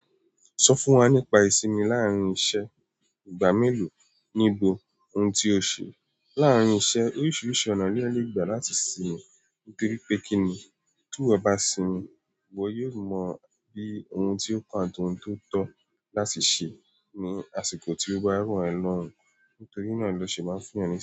Sọ fún wa nípa ìsinmi láàárín iṣẹ́, ìgbà mélòó ní ìbò, ohun tí o ṣe láàárín iṣẹ́, oríṣiríṣi ọ̀nà ni eyan lè gbà láti sinmi, nítorí pé kíni ti iwo bá sinmi, iwọ yóò mọ bí ohun tí ó kàn àti ohun tó tọ́ láti ṣe ní àsìkò tí ó bá ro ẹ lọ́rùn ún, nítorí náà lọ́ ṣe máa ń fún yan ni.